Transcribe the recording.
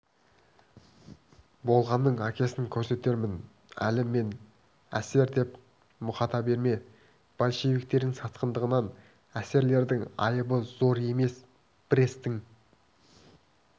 болғанның әкесін көрсетермін әлі мені эсер деп мұқата берме большевиктердің сатқындығынан эсэрлердің айыбы зор емес брестің